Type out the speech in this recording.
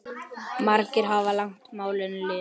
Margir hafa lagt málinu lið.